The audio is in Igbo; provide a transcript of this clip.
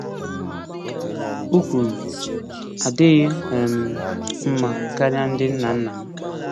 O kwuru, “Adịghị um m mma karịa ndị nna nna m.”